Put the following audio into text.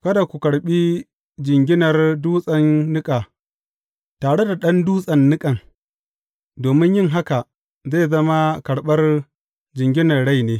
Kada ku karɓi jinginar dutsen niƙa tare da ɗan dutsen niƙan, domin yin haka zai zama karɓar jinginar rai ne.